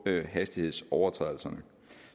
med hastighedsovertrædelserne